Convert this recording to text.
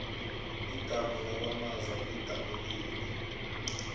idamu lakwamaza lidabukile